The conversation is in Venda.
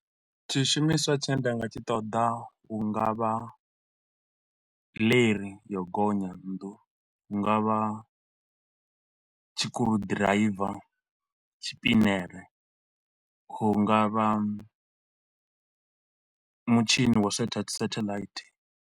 Tshishumiswa tshe nda nga tshi ṱoḓa hu nga vha leri ya u gonya nnḓuni, hu nga vha tshikuru ḓiraiva, tshipinere, hu nga vha mutshini wa u setha satellite.